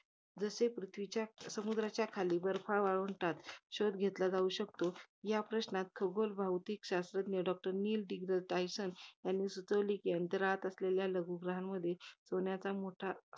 जसे पृथ्वीच्या, समुद्राच्या खाली बर्फाळ वाळवंटात, शोध घेतला जाऊ शकतो. या प्रश्नांवर, खगोल, भौतिक शास्त्रज्ञ doctor नील डीग्रा, डायटल~ डायटलसन्स यांनी सुचवले कि, अंतराळात असलेल्या लघु ग्रहांमध्ये, सोन्याचा मोठा